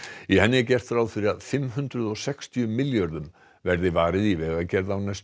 í henni er gert ráð fyrir að fimm hundruð og sextíu milljörðum verði varið í vegagerð á næstu